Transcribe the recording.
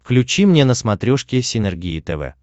включи мне на смотрешке синергия тв